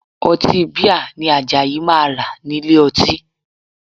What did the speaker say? Ọtí bíà ni Àjàyí máa rà nílé ọtí